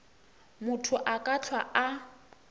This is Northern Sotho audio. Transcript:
motho a ka hlwa a